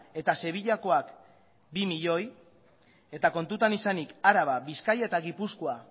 eta sevillakoak bi milioi eta kontutan izanik araba bizkaia eta gipuzkoa